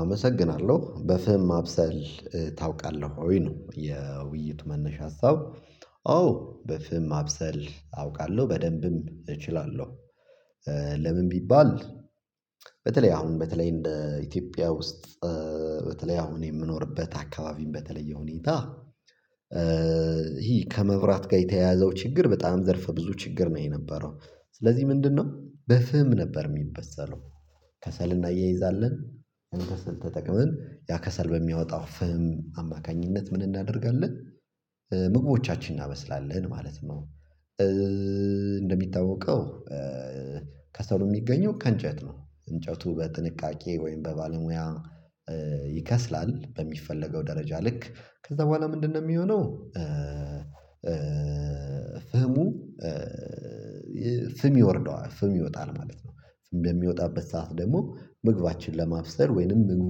አመሰግናለሁ በፍም ማብሰል ታውቃለሁ ወይ ነው የውይይት መነሻ ሀሳብ አዎ በፍም ማብሰል አውቃለሁ በደንብም እችላለሁ። ለምን ቢባል? በተለይ አሁን በተለይ እንደ ኢትዮጵያ ውስጥ በተለይ አሁን የምኖርበት አካባቢም በተለየ ሁኔታ። ይሄ ከመብራት ጋር የተያያዘው ችግር በጣም ዘርፈ ብዙ ችግር ነው የነበረው። ስለዚህ ምንድነው በፍም ነበር ሚበሰለው? ከሰል እናያይዛለን ከሰል ተጠቅመን ያ ከሰል በሚያወጣው ፍም አማካኝነት ምን እናደርጋለን ምግቦቻችን እናበስላለን ማለት ነው። እንደሚታወቀው ከሰሉ የሚገኘው ከእንጨት ነው እንጨቱ በጥንቃቄ ወይም በባለሙያ ይከስላል በሚፈለገው ደረጃ ልክ ከዛ በኋላ ምንድነው የሚሆነው? ፍሙ ፍም ይወርዳል ማለት ነው። ፍም በሚወጣበት ሰዓት ደግሞ ምግባችን ለማብሰል ወይንም ምግቡ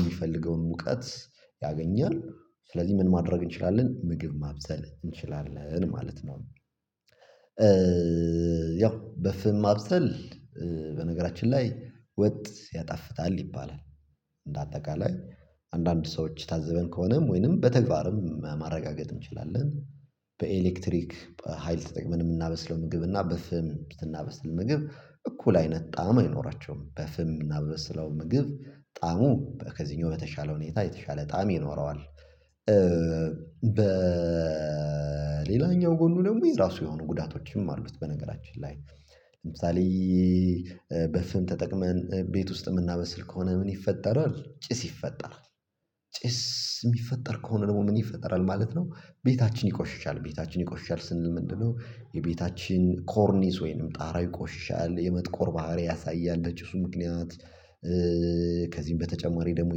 የሚፈልገውን ሙቀት ያገኛል ስለዚህ ምን ማድረግ እንችላለን ምግብ ማብሰል እንችላለን ማለት ነው። ያው በፍም ማብሰል በነገራችን ላይ ወጥ ያጣፍታል ይባላል። እንደ አጠቃላይ አንዳንድ ሰዎች ታዝበን ከሆነም ወይንም በተግባርም ማረጋገጥ እንችላለን። በኤሌክትሪክ ሀይል ተጠቅመን የምናበስለው ምግብና በፍም ስናበስል ምግብ እኩል አይነት ጣዕም አይኖራቸውም በፍም ምናበስለው ምግብ ጣሙ ከዚህኛው በተሻለ ሁኔታ የተሻለ ጣዕም ይኖረዋል። በሌላኛው ጎኑ ደግሞ የራሱ የሆኑ ጉዳቶችም አሉት። በነገራችን ላይ ለምሳሌ በፍም ተጠቅመን ቤት ውስጥ የምናበስል ከሆነ ምን ይፈጠራል ጭስ ይፈጠራል። ጭስ የሚፈጠር ከሆነ ደግሞ ምን ይፈጠራል ማለት ነው። ቤታችን ይቆሽሻል ቤታችን ይቆሽሻል ስንል ምንድነው የቤታችን ኮርኒስ ወይንም ጣራ ይቆሽሻል የመጥቆር ባህሪ ያሳያለ በጪሱ ምክንያት። ከዚህም በተጨማሪ ደግሞ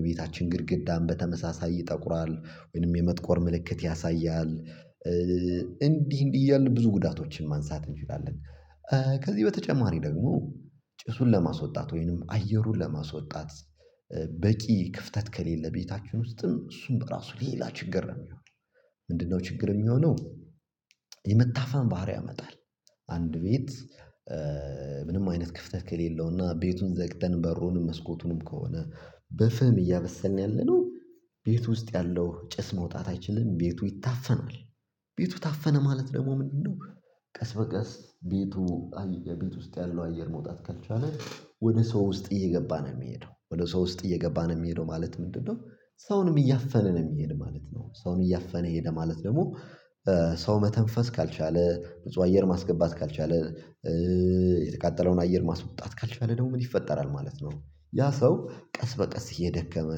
የቤታችን ግድግዳን በተመሳሳይ ይጠቁራል ወይንም የመጥቆር ምልክት ያሳያል። እንዲህ እንዲህ እያልን ብዙ ጉዳቶችን ማንሳት እንችላለን። ከዚህ በተጨማሪ ደግሞ ጭሱን ለማስወጣት ወይንም አየሩን ለማስወጣት በቂ ክፍተት ከሌለ ቤታችሁን ውስጥም እሱን በራሱ ሌላ ችግር ነው የሚሆነው። ምንድነው ችግር የሚሆነው? የመታፈን ባህሪ ያመጣል አንድ ቤት ምንም አይነት ክፍተት ከሌለውና ቤቱን ዘግተን በሩንም መስኮቱንም ከሆነ በፍም እያበሰልን ያለነው ቤት ውስጥ ያለው ጭስ መውጣት አይችልም ቤቱ ይታፈናል። ቤቱ ታፈነ ማለት ደግሞ ምንድነው? ቀስ በቀስ ቤቱ የቤት ውስጥ ያለው አየር መውጣት ካልቻለ ወደ ሰው ውስጥ እየገባ ነው የሚሄደው ወደ ሰው ውስጥ እየገባን ነው የሚሄደው ማለት ምንድነው ሰውንም እያፈነ ነው የሚሄደው ማለት ነው። ሰውን እያፈነ ሄደ ማለት ደግሞ ሰው መተንፈስ ካልቻለ ንጹህ አየር ማስገባት ካልቻለ የተቃጠለውን አየር ማስወጣት ካልቻለ ደግሞ ምን ይፈጠራል ማለት ነው። ያ ሰው ቀስ በቀስ እየደከመ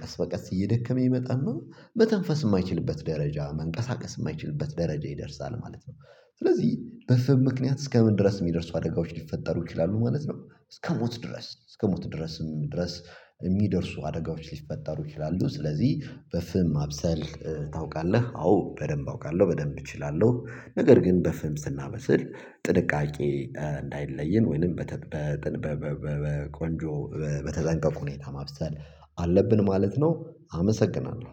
ቀስ በቀስ እየደከመ ይመጣና መተንፈስ የማይችልበት ደረጃ መንቀሳቀስ የማይችልበት ደረጃ ይደርሳል ማለት ነው። ስለዚህ በፍም ምክንያት እስከምን ድረስ የሚደርሱ አደጋዎች ሊፈጠሩ ይችላሉ ማለት ነው። እስከሞት ድረስ እስከ ሞት ድረስም ድረስ የሚደርሱ አደጋዎች ሊፈጠሩ ይችላሉ። ስለዚህ በፍም ማብሰል ታውቃለህ አዎ በደንብ አውቃለሁ በደንብ እችላለሁ ነገር ግን በፍልም ስናበስል ጥንቃቄ እንዳይለየን ወይንም በተጠበቀ በቆንጆ በተጠንቀቁ ሁኔታ ማብሰል አለብን ማለት ነው። አመሰግናለሁ